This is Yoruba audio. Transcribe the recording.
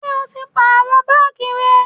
Ǹjẹ́ o ti pàrọ baagi rẹ?